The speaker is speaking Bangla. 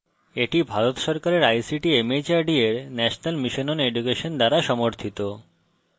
এটি ভারত সরকারের ict mhrd এর national mission on education দ্বারা সমর্থিত